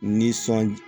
Nisɔndiya